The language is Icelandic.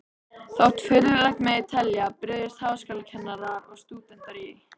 Þótt furðulegt megi telja, brugðust háskólakennarar og stúdentar í